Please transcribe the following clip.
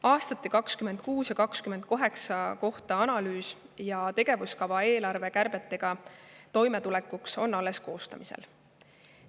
Aastate 2026 ja 2028 kohta tehtav analüüs ja tegevuskava eelarvekärbetega toimetulekuks on alles koostamisel.